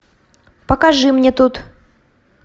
покажи мне тут